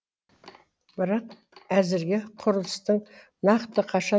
бірақ әзірге құрылыстың нақты қашан